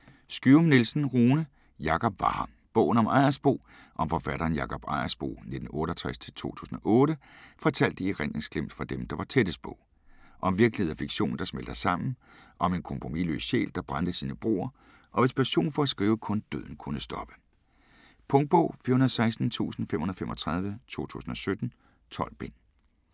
Skyum-Nielsen, Rune: Jakob var her: bogen om Ejersbo Om forfatteren Jakob Ejersbo (1968-2008) fortalt i erindringsglimt fra dem, der var tættest på. Om virkelighed og fiktion der smelter sammen, og om en kompromisløs sjæl, der brændte sine broer, og hvis passion for at skrive kun døden kunne stoppe. Punktbog 416535 2017. 12 bind.